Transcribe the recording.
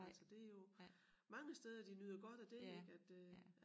Altså det jo mange steder de nyder godt af det ik at øh